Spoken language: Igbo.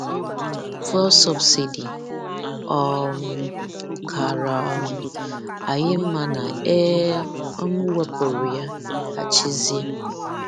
Fuel subsidy: Ọ̀ um kára um anyị mma na e um wepụrụ ya — ya — Chizea.